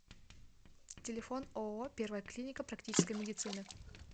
телефон ооо первая клиника практической медицины